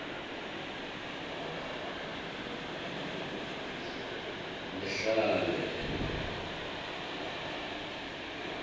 lihlane